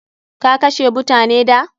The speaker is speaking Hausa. Ka kashe mutane da?